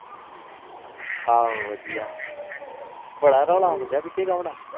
ਆਹੋ ਵਧੀਆ ਬੜਾ ਰੋਲ ਆਉਣ ਡਾ ਪਿੱਛੇ ਕੋਨਾ